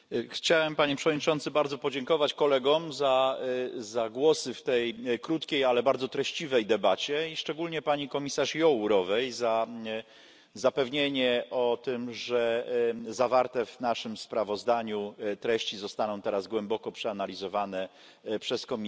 Panie Przewodniczący! Chciałbym bardzo podziękować kolegom za głosy w tej krótkiej, ale bardzo treściwej debacie i szczególnie pani komisarz Jourovej za zapewnienie o tym, że zawarte w naszym sprawozdaniu treści zostaną teraz głęboko przeanalizowane przez Komisję.